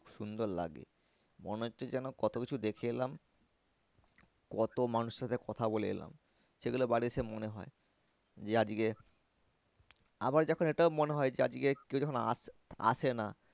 সুন্দর লাগে মনে হচ্ছে যেন কত কিছু দেখে এলাম কত মানুষের সাথে কথা বলে এলাম সেগুলো বাড়ি এসে মনে হয় যে আজকে আবার যখন এটাও মনে হয় যে আজকে কেউ যখন আসে না